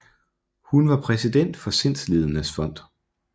Hun var præsident for Sindslidendes Fond